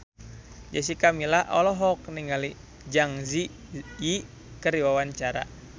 Jessica Milla olohok ningali Zang Zi Yi keur diwawancara